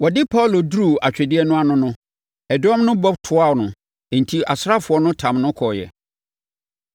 Wɔde Paulo duruu atwedeɛ no ano no, ɛdɔm no bɔ toaa no enti asraafoɔ no tam no kɔeɛ.